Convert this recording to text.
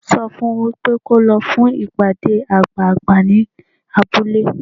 Sọ fun wípé kó lọ fún ìpàdé àgbààgbà ní abúlé.